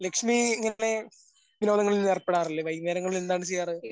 ലക്ഷ്മീ ഇങ്ങനെ വിനോദങ്ങളിൽ ഏർപ്പെടാറില്ലേ വൈകുന്നേരങ്ങളിൽ എന്താണ് ചെയ്യാറ്?